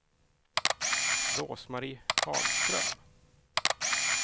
Rose-Marie Hagström